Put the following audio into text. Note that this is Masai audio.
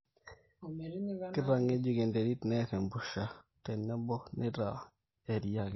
keitangejuk enterit, neer empusha tenebo neitaa erria kiti